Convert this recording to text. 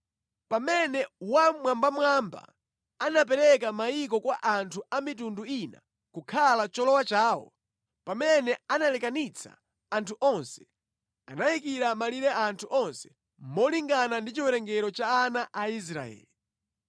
Pamene Wammwambamwamba anapereka mayiko kwa anthu a mitundu ina kukhala cholowa chawo, pamene analekanitsa anthu onse, anayikira malire anthu onse molingana ndi chiwerengero cha ana a Israeli.